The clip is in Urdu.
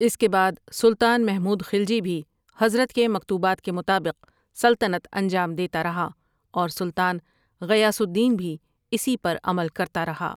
اس کے بعد سلطان محمود خلجی بھی حضرت کے مکتوبات کے مطابق سلطنت انجام دیتا رہا اور سلطان غیاث الدین بھی اسی پر عمل کرتا رہا۔